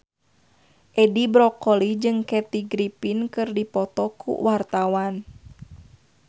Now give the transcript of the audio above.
Edi Brokoli jeung Kathy Griffin keur dipoto ku wartawan